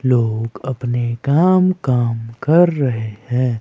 लोग अपने काम काम कर रहे हैं।